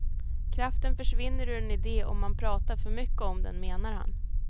Kraften försvinner ur en idé om man pratar för mycket om den, menar han.